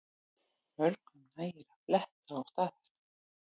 Mörgum nægir að fletta og staðfesta